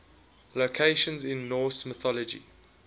locations in norse mythology